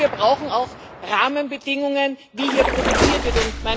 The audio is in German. Aber wir brauchen auch Rahmenbedingungen, wie hier produziert wird.